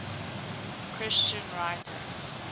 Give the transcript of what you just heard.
christian writers